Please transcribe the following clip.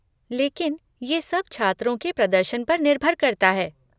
लेकिन ये सब छात्रों के प्रदर्शन पर निर्भर करता है।